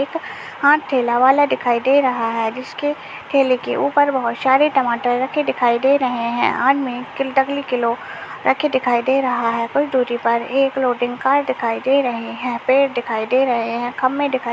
एक आँठ ठेला वाला दिखाई दे रहा है जिसके ठेले के ऊपर बहोत सारे टमाटर रखे दिखाई दे रहे हैं आदमी किलो रखे दिखाई दे रहा है कुछ दूरी पर ही एक लोडिग कार दिखाई दे रहे हैं पेड़ दिखाई दे रहे हैं खंभे दिखाई --